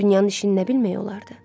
Dünyanın işini nə bilmək olardı?